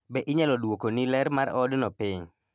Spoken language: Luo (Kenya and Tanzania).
Be inyalo dwokoni ler mar odno piny?